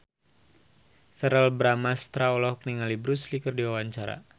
Verrell Bramastra olohok ningali Bruce Lee keur diwawancara